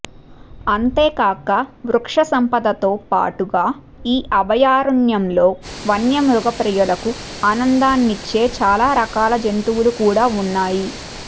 అంతేకాక వృక్ష సంపదతో బాటుగా ఈ అభయారణ్యంలో వన్య మృగ ప్రియులకు ఆనందానిచ్చే చాలా రకాల జంతువులు కూడా ఉన్నాయి